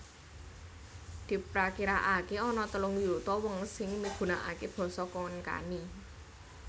Diprakirakaké ana telung yuta wong sing migunakaké basa Konkani